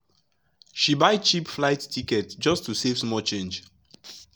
she buy cheap flight ticket just to save small change.